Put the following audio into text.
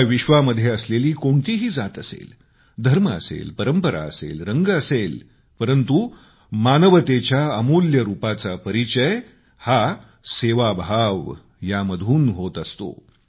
या विश्वामध्ये असलेली कोणतीही जात असेल धर्म असेल परंपरा असेल वर्ण असेल परंतु मानवतेच्या अमूल्य रूपाचा परिचय हा सेवाभावयामधून होत असतो